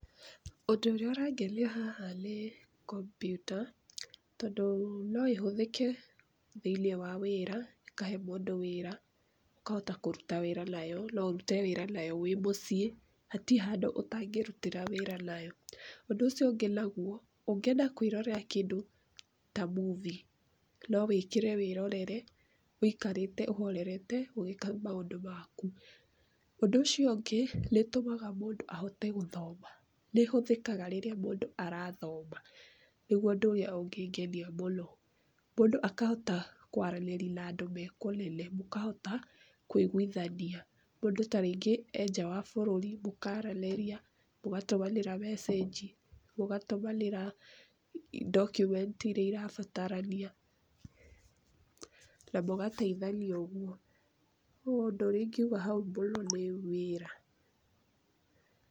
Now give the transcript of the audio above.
Ũndũ ũrĩa ũrangenia haha nĩ kompyuta, tondũ no ĩhũthĩke thĩinĩ wa wĩra, ĩkahe mũndũ wĩra, ũkahota kũruta wĩra nayo no ũrute wĩra nayo wĩmũciĩ, hati handũ ũtangĩrutĩra wĩra nayo. Ũndũ ucio ũngĩ nauo, ũngĩenda kwĩrorera kĩndũ ta movie, no wĩkĩre wĩrorere, ũikarĩte ũhorerete, ũgĩĩka maũndũ maku. Ũndũ ũcio ũngĩ, nĩ ĩtũmaga mũndũ ahote gũthoma, nĩ ĩhũthĩkaga rĩrĩa mũndũ arathoma, nĩuo ũndũ ũrĩa ũngĩngenia mũno. Mũndũ akahota kwaranĩria na andũ me kũnene, mũkahota kũiguithania, mũndũ ta rĩngĩ e nja wa bũrũri mũkaaranĩria, mũgatũmanĩra message, mũgatũmanĩra document iria irabatarania, na mũgateithania ũguo. Rĩu ũndũ ũrĩa ingiuga hau mũno nĩ wĩra.